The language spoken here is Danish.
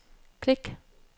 klik